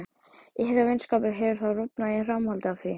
Ykkar vinskapur hefur þá rofnað í framhaldi af því?